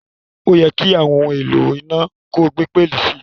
Óyẹ́ ki àwon oun èlò iná ko gbé pẹlí si